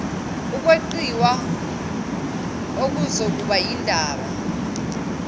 ukweqiwa okuzokuba yindaba